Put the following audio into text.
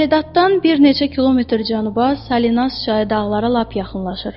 Salinatdan bir neçə kilometr cənuba Salinaz çayı dağlara lap yaxınlaşır.